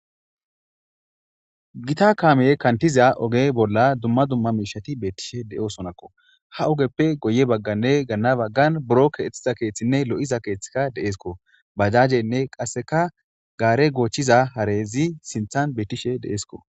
Gta kaameyey kantiza oge bolla dumma dumma miishati beettishe de'osonakko. Ha ogeppe guye bagganne ganna baggan buro keexetiza keeththinne lo'iza keeththika deesko. Bajajenne qasseka gaare goochiza harezi sinthan bettishe deesiko.